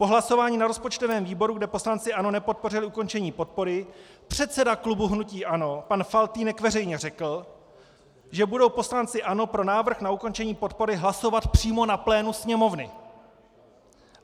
Po hlasování na rozpočtovém výboru, kde poslanci ANO nepodpořili ukončení podpory, předseda klubu hnutí ANO pan Faltýnek veřejně řekl, že budou poslanci ANO pro návrh na ukončení podpory hlasovat přímo na plénu Sněmovny.